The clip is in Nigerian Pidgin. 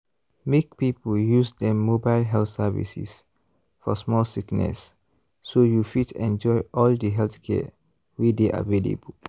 make people use dem mobile health services for small sickness so you fit enjoy all the healthcare wey dey available.